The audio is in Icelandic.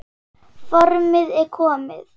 Formið er komið!